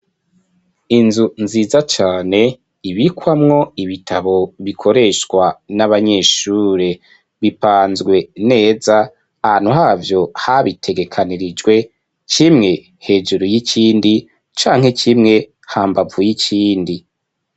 Inzu nziza cane ibikwamwo ibitabo bikoreshwa n'abanyeshure, bipanzwe neza ahantu havyo habitegekanirijwe kimwe hejuru y'ikindi canke kimwe hambavu y'ikindi.